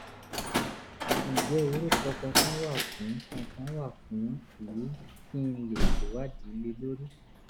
ǹjẹ́ orúkọ kankan wà fún kankan wà fún èyí kí n lè ṣèwádìí lé lórí?